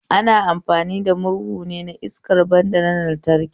Ana amfani da murhun ne iskar banda na lantraki